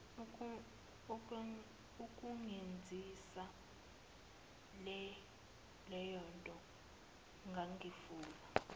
ukungenzisa leyonto ngangifuna